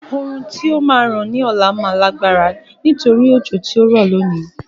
Oòrùn tí ó máa ràn ní ọ̀la máa lágbára nítorí òjò tí ó rọ̀ lónìí.